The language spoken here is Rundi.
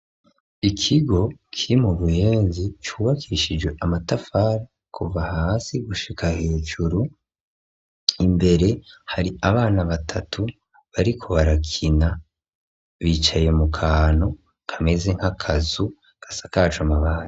Ikigo kiri mu buyenzi cubakishijwe amatafarI kuva hasi gushika hejuru ,imbere hari abana batatu bariko barakina bicaye mu kantu kameze nk'akazu gasakajwe amabati .